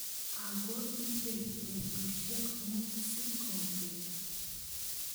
Ako ibei betushek mut sikobek.